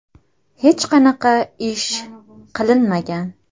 Hech qanaqa ish qilinmagan.